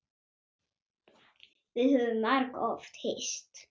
Við höfum margoft hist.